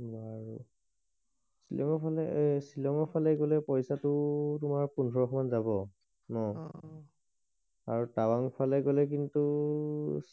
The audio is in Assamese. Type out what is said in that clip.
শ্বিলংৰ ফালে শ্বিলংৰ ফালে গলে কিবা পইছাটো তোমাৰ পোন্ধৰশ মান যাব ন অ আৰু তৱাং ফালে গলে কিন্তু